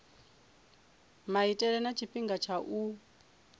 maitele na tshifhinga tsha u